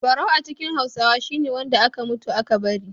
Barau a cikin Hausawa shi ne wanda aka mutu aka bari.